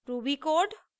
ruby code